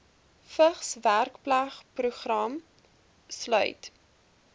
vigs werkplekprogram sluit